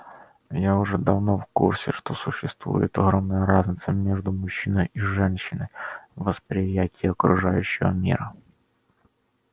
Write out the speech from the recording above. я уже давно в курсе что существует огромная разница между мужчиной и женщиной в восприятии окружающего мира